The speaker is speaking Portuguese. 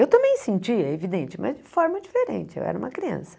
Eu também sentia, é evidente, mas de forma diferente, eu era uma criança.